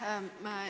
Aitäh!